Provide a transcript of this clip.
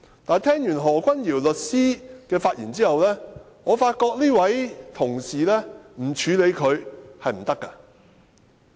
但聽畢何君堯律師的發言後，我發覺不處理這位同事，是不行的。